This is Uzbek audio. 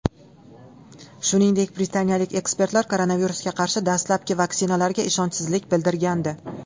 Shuningdek, Britaniyalik ekspertlar koronavirusga qarshi dastlabki vaksinalarga ishonchsizlik bildirgandi .